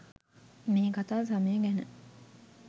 මේ කතා සමය ගැන